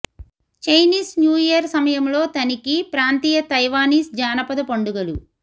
Chinese New Year సమయంలో తనిఖీ ప్రాంతీయ తైవానీస్ జానపద పండుగలు